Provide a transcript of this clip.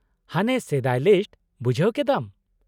- ᱦᱟᱱᱮ ᱥᱮᱫᱟᱭ ᱞᱤᱥᱴ , ᱵᱩᱡᱷᱟᱹᱣ ᱠᱮᱫᱟᱢ ᱾